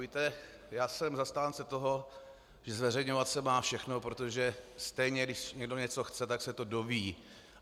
Víte, já jsem zastáncem toho, že zveřejňovat se má všechno, protože stejně když někdo něco chce, tak se to dozví.